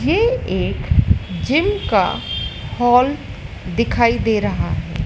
यह एक जिम का हॉल दिखाई दे रहा है।